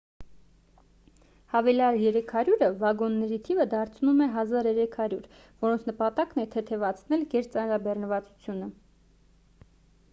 հավելյալ 300-ը վագոնների թիվը դարձնում է 1,300 որոնց նպատակն է թեթևացնել գերծանրաբեռնվածությունը